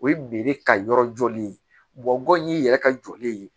O ye ka yɔrɔ jɔli ye gɔyɔn y'i yɛrɛ jɔlen ye